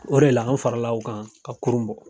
O de la anw farala u kan ka kurun bɔ.